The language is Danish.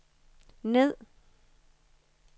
ned